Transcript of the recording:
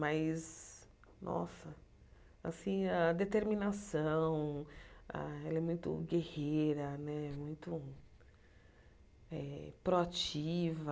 Mas, nossa, assim a determinação, ela é muito guerreira né, muito eh proativa.